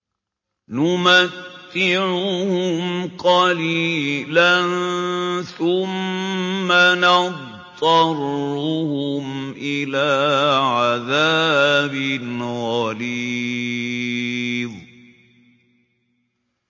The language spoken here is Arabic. نُمَتِّعُهُمْ قَلِيلًا ثُمَّ نَضْطَرُّهُمْ إِلَىٰ عَذَابٍ غَلِيظٍ